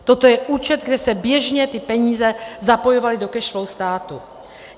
Toto je účet, kde se běžně ty peníze zapojovaly do cash flow státu.